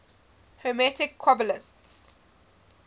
hermetic qabalists